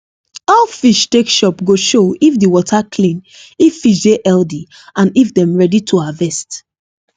how fish take chop go show if the water clean if fish dey healthy and if dem ready to harvest